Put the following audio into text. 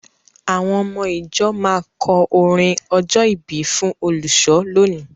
Àwọn ọmọ-ìjọ máa kọ orin ọjọ́-ìbí fún olùṣọ́ lónìí.